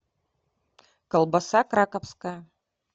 колбаса краковская